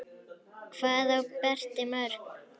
Hvað á Berti mörg?